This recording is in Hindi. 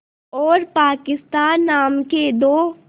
और पाकिस्तान नाम के दो